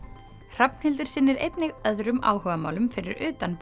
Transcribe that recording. Hrafnhildur sinnir einnig öðrum áhugamálum fyrir utan